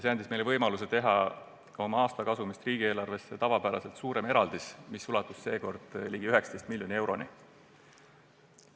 See andis meile võimaluse teha oma aastasest kasumist riigieelarvesse tavapärasest suurem eraldis, mis seekord ulatus peaaegu 19 miljoni euroni.